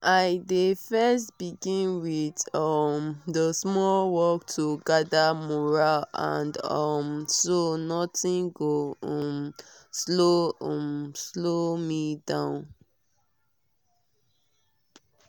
i dey first begin with um the small work to gather mural and um so nothing go um slow um slow me down